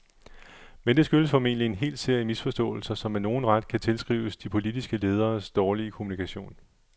Men det skyldes formentlig en hel serie misforståelser, som med nogen ret kan tilskrives de politiske lederes dårlige kommunikation.